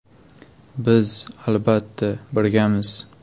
Biz, albatta, birgamiz.